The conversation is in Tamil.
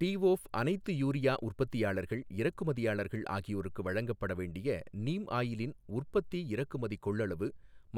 டி ஓஃப் அனைத்து யூரியா உற்பத்தியாளர்கள், இறக்குமதியாளர்கள் ஆகியோருக்கு வழங்கப்பட வேண்டிய நீம் ஆயிலின் உற்பத்தி இறக்குமதி கொள்ளளவு